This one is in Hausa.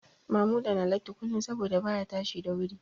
Mamuda na latti kullum saboda baya tashi da wuri